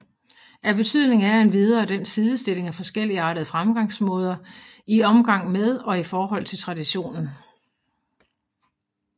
Af betydning er endvidere den sidestilling af forskelligartede fremgangsmåder i omgang med og i forhold til traditionen